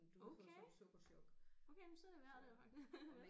Okay okay men så er det værd det jo faktisk